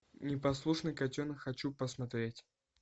непослушный котенок хочу посмотреть